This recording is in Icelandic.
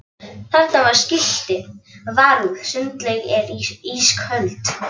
Þarna var skilti: Varúð sundlaugin er ísköld